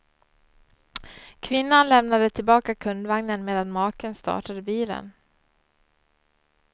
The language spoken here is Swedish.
Kvinnan lämnade tillbaka kundvagnen medan maken startade bilen.